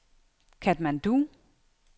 Katmandu